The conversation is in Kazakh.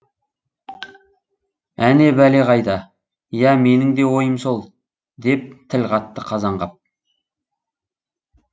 әне бәле қайда иә менің де ойым сол деп тіл қатты қазанғап